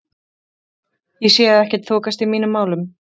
Ég sé að ekkert þokast í mínum málum.